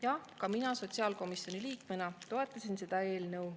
Jah, ka mina sotsiaalkomisjoni liikmena toetasin seda eelnõu.